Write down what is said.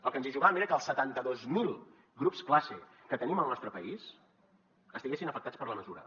el que ens hi jugàvem era que els setanta dos mil grups classe que tenim al nostre país estiguessin afectats per la mesura